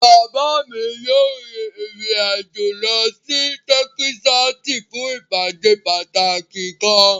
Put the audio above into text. Baba mi yoo rin irin ajo lọ si Tẹkisasi fun ipade pataki kan